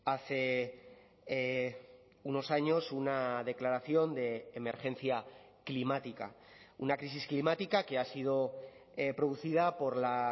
hace unos años una declaración de emergencia climática una crisis climática que ha sido producida por la